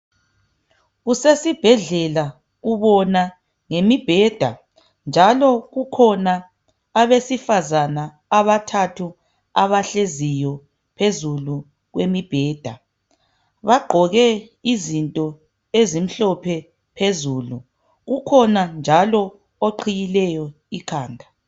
Kusesibhedlela ubona ngemibheda njalo kukhona abesifazana abathathu abahleziyo phezulu kwemibheda. Bagqoke izinto ezimhlophe phezulu ukhona njalo oqhiyileyo ikhanda.